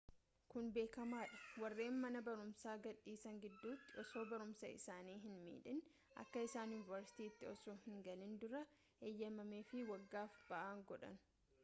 kun beekamaadha warreen mana barumsaa gad dhiisan gidduutti osoo barumsaa isaanii hin midhiin akka isaan yuunivarsiiti osoo hin galiin dura eeyyamameefi waggaaf ba'aan godha